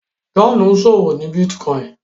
John ìṣòwò ní bitcoin